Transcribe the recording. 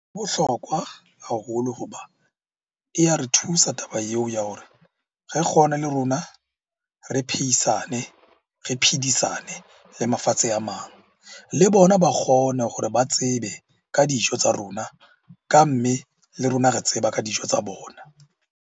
E Bohlokwa haholo hoba e ya re thusa taba eo ya hore re kgone le rona re pheisane, re phedisane le mafatsheng a mang. Le bona ba kgone hore ba tsebe ka dijo tsa rona ka mme, le rona re tseba ka dijo tsa bona.